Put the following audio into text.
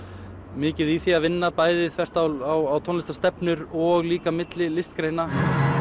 mikið í því að vinna bæði þvert á tónlistarstefnur og líka milli listgreina